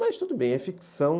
Mas tudo bem, é ficção.